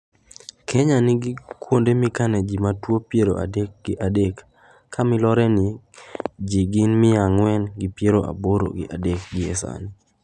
Kenya nigi kuonde mikane ji ma tuo piero adek gi adek ka miloronie ji gin mia ang'wen gi piero aboro gi a dek gi e sani.